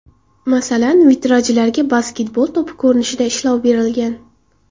Masalan, vitrajlarga basketbol to‘pi ko‘rinishida ishlov berilgan.